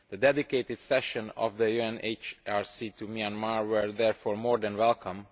The dedicated session of the UNHRC on Myanmar was therefore more than welcome.